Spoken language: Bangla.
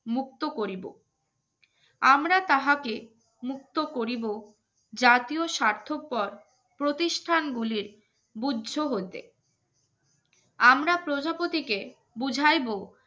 মুক্ত করিব আমরা তাহাকে মুক্ত করিব জাতীয় স্বার্থপর প্রতিষ্ঠানগুলির বুদ্ধ হতে আমরা প্রজাপতিকে বুঝাইব